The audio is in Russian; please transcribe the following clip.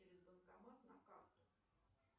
через банкомат на карту